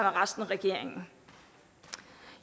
og resten af regeringen